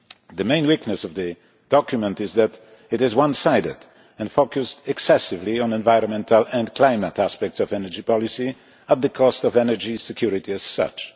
The main weakness of the document is that it is one sided and focused excessively on environmental and climate aspects of energy policy at the cost of energy security as such.